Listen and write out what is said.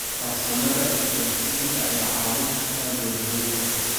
Farsamada isgaadhsiinta ayaa caawin karta beeralayda.